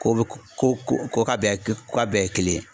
Ko bɛ ko ko ko k'a bɛɛ ye k ko k'a bɛɛ ye kelen ye